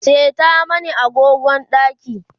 seta mani agogon ɗakin